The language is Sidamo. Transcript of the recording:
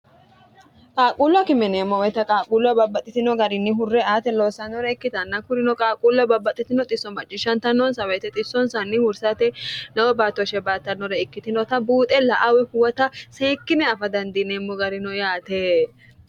qaaquullu akime yineemmo woyte qaaquulloa babbaxxitino garinni hurre ate loossanore ikkitanna kurino qaaquullo babbaxxitino xisso macciishshantanoonsa woyte xissonsanni hursate n batto she baattannore ikkitinota buuxe la"a woy huwata seekkine afa dandiineemmo garino yaate